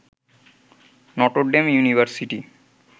Notre Dame university